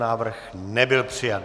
Návrh nebyl přijat.